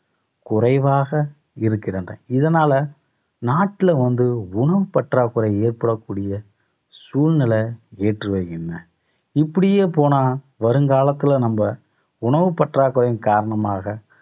குறைவாக இருக்கின்றன. இதனால நாட்டுல வந்து உணவுப் பற்றாக்குறை ஏற்படக்கூடிய சூழ்நிலை ஏற்று வையுங்க. இப்படியே போனா வருங்காலத்தில நம்ம உணவுப் பற்றாக்குறையின் காரணமாக